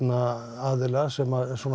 aðila sem